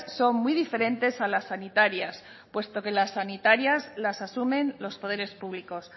son muy diferentes a las sanitarias puesto que las sanitarias las asumen los poderes públicos